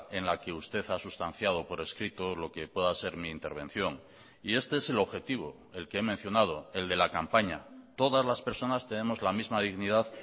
en la que usted ha sustanciado por escrito lo que pueda ser mi intervención y este es el objetivo el que he mencionado el de la campaña todas las personas tenemos la misma dignidad